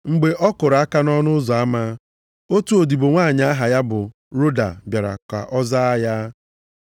Mgbe ọ kụrụ aka nʼọnụ ụzọ ama, otu odibo nwanyị aha ya bụ Roda bịara ka o zaa ya.